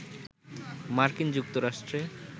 মার্কিন যুক্তরাষ্ট্রে